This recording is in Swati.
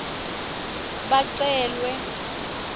bacelwe